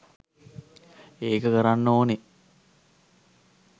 ඒක කරන්න් ඕන